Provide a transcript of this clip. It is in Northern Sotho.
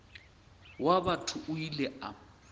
wa batho o ile a